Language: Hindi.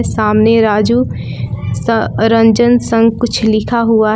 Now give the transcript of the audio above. सामने राजू स रंजन संग कुछ लिखा हुआ है।